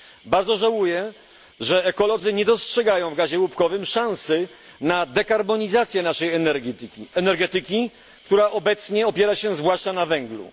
Bardzo żałuję, że ekolodzy nie dostrzegają w gazie łupkowym szansy na dekarbonizację naszej energetyki, która obecnie opiera się zwłaszcza na węglu.